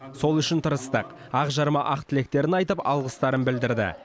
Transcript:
сол үшін тырыстық ақ жарма ақ тілектерін айтып алғыстарын білдірді